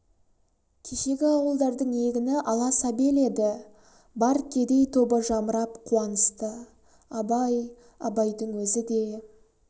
кешегі ауылдардың егіні ала сабел еді бар кедей тобы жамырап қуанысты абай абайдың өзі де